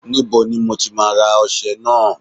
Níbo ni mo ti máa ra ọṣẹ náà?